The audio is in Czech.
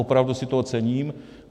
Opravdu si toho cením.